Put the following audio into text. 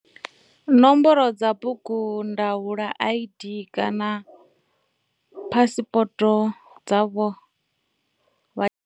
Nomboro dza bugundaula ID kana phasipoto dza vha.